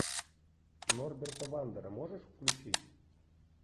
норберта вандера можешь включить